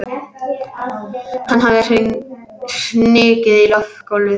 Hann hafði hnigið í gólfið.